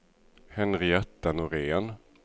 Henrietta Norén